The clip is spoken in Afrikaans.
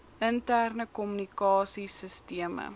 interne kommunikasie sisteme